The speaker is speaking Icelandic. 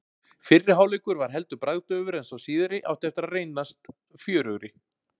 Fyrri hálfleikur var heldur bragðdaufur en sá síðari átti eftir að reyndast fjörugri.